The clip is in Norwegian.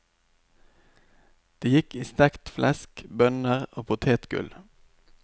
Det gikk i stekt flesk, bønner og potetgull.